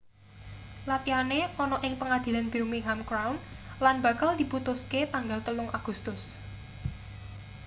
latihane ana ing pengadilan birmingham crown lan bakal diputuske tanggal 3 agustus